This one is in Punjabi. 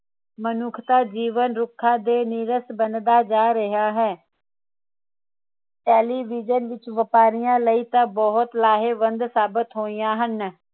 ਮਨੁੱਖ ਦਾ ਜੀਵਨ ਰੁੱਖਾਂ ਦੇ ਨੀਰਸ ਬਣਦਾ ਜਾ ਰਿਹਾ ਹੈ television ਵਪਾਰੀਆਂ ਲਈ ਤਾਂ ਬਹੁਤ ਲਾਹੇਬੰਦ ਸਾਬਿਤ ਹੋਇਆ ਹਨ